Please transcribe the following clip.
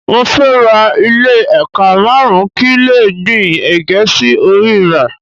Mo fẹ́ ra ilẹ̀ ékà márùn-ún kí n lè gbìn ègé sí orí rẹ̀